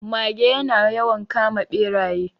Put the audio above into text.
Mage ya na yawan kama Ɓeraye